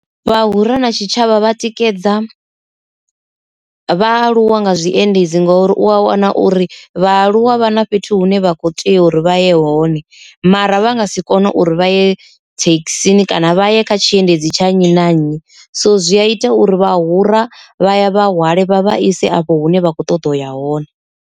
Vhahura na tshitshavha vha tikedza vhaaluwa nga zwiendedzi ngori u a wana uri vhaaluwa vha na fhethu hune vha kho tea uri vha ye hone mara vha nga si kone uri vha ye thekhisini kana vha ye kha tshiendedzi tsha nnyi na nnyi, so zwi a ita uri vhahura vha ya vha vhahwale vha vha ise afho hune vha kho ṱoḓa uya hone.